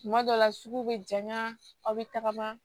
Tuma dɔ la suguw bɛ janya aw bɛ tagama